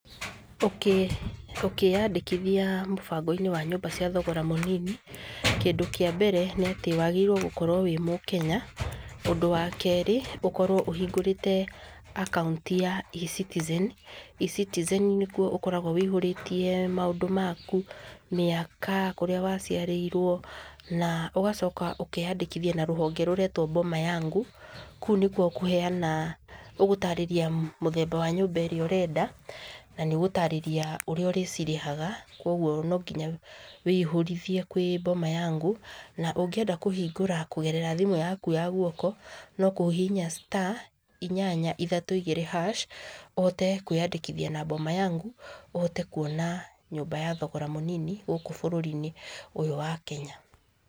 Ũkĩyandĩkithia mũbango-inĩ wa nyũmba cia thogora mũnini, kĩndũ kĩa mbere nĩ atĩ wagĩrĩirwo gũkorwo wĩ mũkenya, ũndũ wa kerĩ ũkorwo ũhingũrĩte akaũnti ya ECitizen, ECitizen nĩ kuo ũkoragwo wĩihũrĩtie maũndũ maku, mĩaka, kũrĩa waciarĩirwo, na ũgacoka ũkeyandĩkithia na rũhonge rũretwo Boma Yangu, kũu nĩ kuo ũkũheana, ũgũtarĩria mũthemba wa nyũmba ĩrĩa ũrenda, na nĩ ũgũtarĩria ũrĩa ũrĩcirĩhaga, kũguo no nginya wĩihũrithie kwĩ Boma Yangu, na ũngĩenda kũhingũra kũgerera thimũ yaku ya guoko, no kũhihinya star inyanya ithatũ igĩrĩ hash ũhote kwĩyandĩkithia na Boma Yangu , ũhote kuona nyũmba ya thogora mũnini gũkũ bũrũri-inĩ ũyũ wa Kenya.